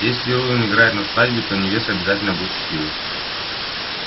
если рувим играет на свадьбе то невеста обязательно будет счастливой